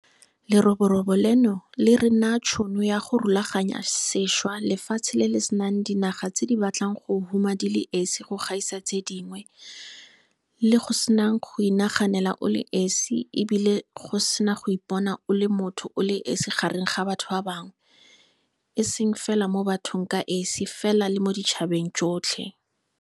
Leroborobo leno le re naya tšhono ya go rulaganya sešwa lefatshe le le senang dinaga tse di batlang go huma di le esi go gaisa tse dingwe, le go senang go inaganela o le esi e bile go sena go ipona o le motho o le esi gareng ga batho ba bangwe, e seng fela mo bathong ka esi fela le mo ditšhabeng tsotlhe.